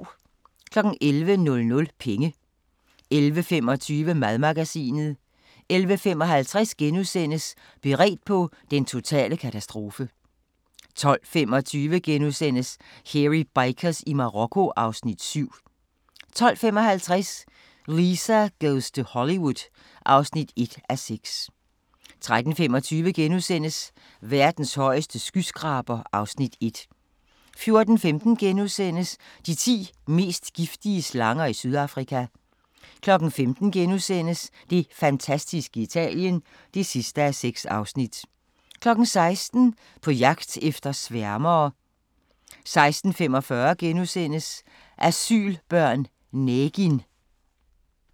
11:00: Penge 11:25: Madmagasinet 11:55: Beredt på den totale katastrofe * 12:25: Hairy Bikers i Marokko (Afs. 7)* 12:55: Lisa goes to Hollywood (1:6) 13:25: Verdens højeste skyskraber (Afs. 1)* 14:15: De ti mest giftige slanger i Sydafrika * 15:00: Det fantastiske Italien (6:6)* 16:00: På jagt efter sværme 16:45: Asylbørn - Negin *